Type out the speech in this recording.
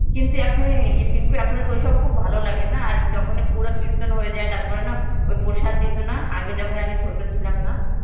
কিন্তু এখন এই এই টিঙ্কু এখন তো ওইসব তো খুব ভালো লাগে না. আর যখন পুরা কৃতন হয়ে যায় তারপর না ওই প্রসাদ দিত না আগে যখন আমি ওই ছোটো ছিলাম না,